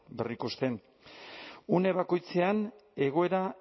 berrikusten une bakoitzean egoera